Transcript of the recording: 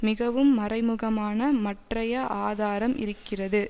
மிகவும் மறைமுகமான மற்றைய ஆதாரம் இருக்கிறது